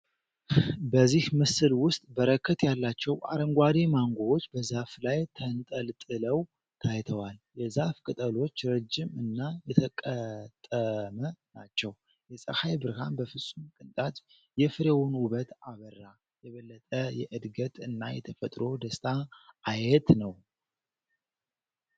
በዚህ ምስል ውስጥ በረከት ያላቸው አረንጓዴ ማንጎዎች በዛፉ ላይ ተንጠልጠለው ታይተዋል። የዛፉ ቅጠሎች ረጅም እና የተቀጠመ ናቸው። የፀሐይ ብርሃን በፍጹም ቅንጣት የፍሬውን ውበት አበራ። የበለጠ የእድገት እና የተፈጥሮ ደስታ አየት ነው።